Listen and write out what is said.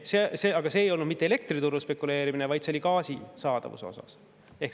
Aga see ei olnud mitte elektriturul spekuleerimine, vaid see oli gaasi saadavusega seotud.